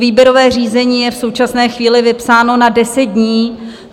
Výběrové řízení je v současné chvíli vypsáno na deset dní.